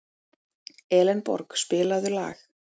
Elenborg, spilaðu lag.